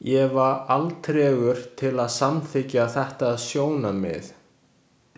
Ég var alltregur til að samþykkja þetta sjónarmið.